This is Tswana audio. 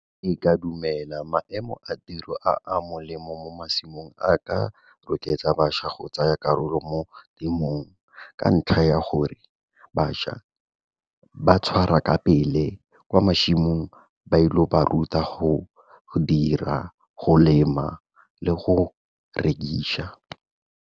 Ee, ka dumela maemo a tiro a a molemo mo masimong a ka rotloetsa bašwa go tsaya karolo mo temong ka ntlha ya gore bašwa ba tshwara ka pele kwa masimong bailo ba ruta go dira, go lema le go rekiša.